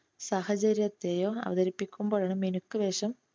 സാഹചര്യത്തെയോ അവതരിപ്പിക്കുമ്പോഴാണ് മിനുക്ക് വേഷം